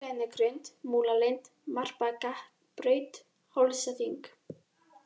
Grenigrund, Múlalind, Marbakkabraut, Hálsaþing